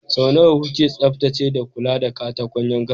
Sau nawa kuke tsaftacewa da kula da katakon yankan?